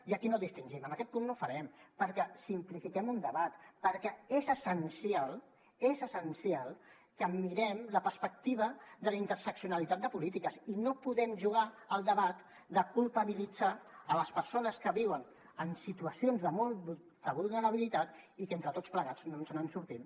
i aquí no distingim en aquest punt no ho farem perquè simplifiquem un debat perquè és essencial és essencial que mirem la perspectiva de la interseccionalitat de polítiques i no podem jugar al debat de culpabilitzar les persones que viuen en situacions de molta vulnerabilitat i que entre tots plegats no ens en sortim